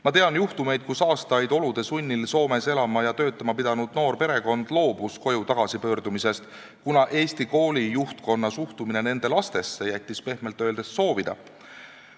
Ma tean juhtumit, kus aastaid olude sunnil Soomes elama ja töötama pidanud noor perekond loobus koju tagasi pöördumast, kuna Eesti kooli juhtkonna suhtumine nende lastesse jättis pehmelt öeldes soovida.